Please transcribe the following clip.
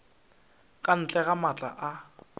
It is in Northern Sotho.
ka ntle ga maatla a